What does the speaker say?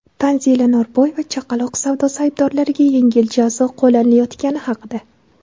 Tanzila Norboyeva chaqaloq savdosi aybdorlariga yengil jazo qo‘llanilayotgani haqida.